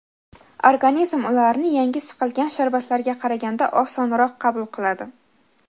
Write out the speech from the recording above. Organizm ularni yangi siqilgan sharbatlarga qaraganda osonroq qabul qiladi.